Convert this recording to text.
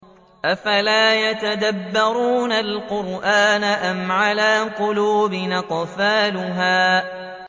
أَفَلَا يَتَدَبَّرُونَ الْقُرْآنَ أَمْ عَلَىٰ قُلُوبٍ أَقْفَالُهَا